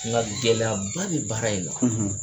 Nka gɛlɛyaba bi baara in na